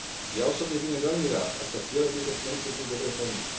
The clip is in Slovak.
Ja osobne budem veľmi rád, ak sa ciele tejto smernice budú dobre plniť.